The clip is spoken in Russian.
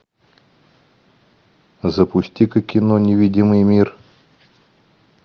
запусти ка кино невидимый мир